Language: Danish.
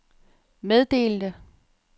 meddelte